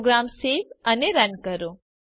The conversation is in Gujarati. પ્રોગ્રામ સેવ અને રન કરો